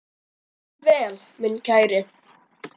Far vel minn kæri.